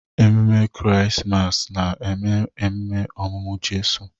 Ememe Krismas na-eme ememe ọmụmụ Jizọs.